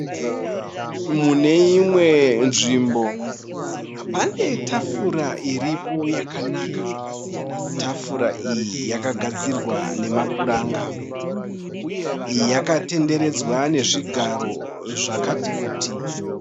Mune imwe nzvimbo pane tafura iripo yakanaka. Tafura iyi yakagadzirwa nemapuranga. Yakatenderedzwa nezvigaro zvakati kuti.